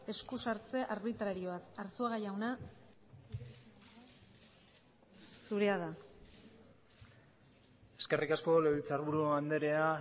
eskusartze arbitrarioaz arzuaga jauna zurea da hitza eskerrik asko legebiltzarburu anderea